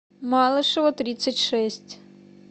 малышева тридцать шесть